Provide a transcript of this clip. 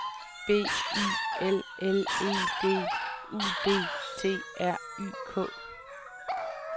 B I L L E D U D T R Y K